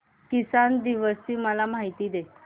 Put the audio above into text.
किसान दिवस ची मला माहिती दे